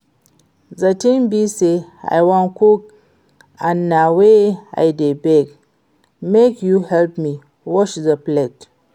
The thing be say I wan cook and na why I dey beg make you help me wash the plate